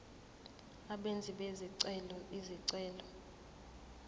abenzi bezicelo izicelo